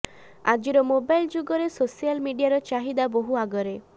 ଆଜିର ମୋବାଇଲ ଯୁଗରେ ସୋସିଆଲ ମିଡିଆର ଚାହିଦା ବହୁ ଆଗରେ